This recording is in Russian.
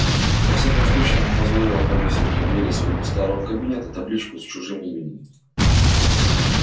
во всяком случае она позволила повесить на двери своего старого кабинета табличку с чужим именем